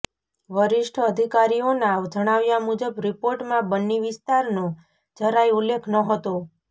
વરિષ્ઠ અધિકારીઓના જણાવ્યા મુજબ રિપોર્ટમાં બન્ની વિસ્તારનો જરાય ઉલ્લેખ નહતો